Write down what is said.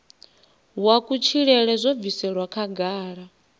wa kutshilele zwo bviselwa khagala